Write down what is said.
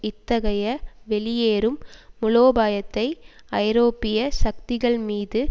இத்தகைய வெளியேறும் மூலோபாயத்தை ஐரோப்பிய சக்திகள் மீது